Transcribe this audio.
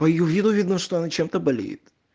по её виду видно что она чем-то болеет